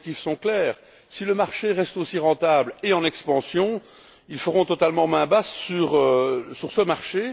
Leurs objectifs sont clairs si le marché reste aussi rentable et en expansion, ils feront totalement main basse sur ce marché.